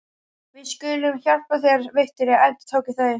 Við skulum hjálpa þér, Viktoría, endurtóku þau.